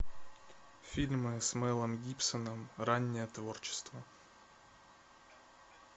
фильмы с мелом гибсоном раннее творчество